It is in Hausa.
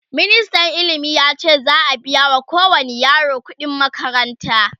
ministan ilimi yace za'q biya wa kowani yaro ƙuɗi n makaranta